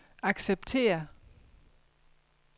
acceptere